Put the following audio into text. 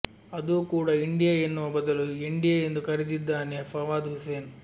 ಅದೂ ಕೂಡಾ ಇಂಡಿಯಾ ಎನ್ನುವ ಬದಲು ಎಂಡಿಯಾ ಎಂದು ಕರೆದಿದ್ದಾನೆ ಫವಾದ್ ಹುಸೇನ್